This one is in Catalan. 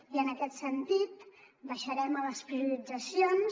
i en aquest sentit baixarem a les prioritzacions